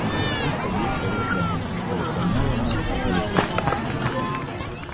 мы вошли в подъезд того здания что заслоняло нас от вихря